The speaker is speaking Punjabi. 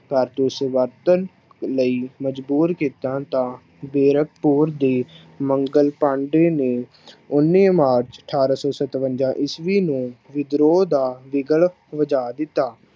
ਕਾਰਤੂਸ ਵਰਤਣ ਲਈ ਮਜ਼ਬੂਰ ਕੀਤਾ ਤਾਂ ਵੇਰਕਪੁਰ ਦੇ ਮੰਗਲ ਪਾਂਡੇ ਨੇ ਉੱਨੀ ਮਾਰਚ ਅਠਾਰਾਂ ਸੌ ਸਤਵੰਜਾ ਈਸਵੀ ਨੂੰ ਵਿਦਰੋਹ ਦਾ ਵਿਗਲ ਵਜਾ ਦਿੱਤਾ।